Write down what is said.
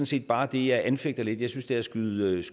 set bare det jeg anfægter lidt jeg synes det er at skyde